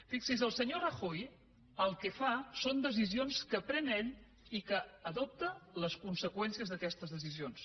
fixi’s el senyor rajoy el que fa són decisions que pren ell i adopta les conseqüències d’aquestes decisions